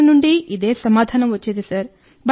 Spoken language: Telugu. అందరి నుండి ఇదే సమాధానం వచ్చింది సార్